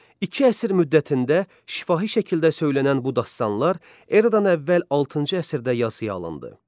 İki əsr müddətində şifahi şəkildə söylənən bu dastanlar eradan əvvəl 6-cı əsrdə yazıya alındı.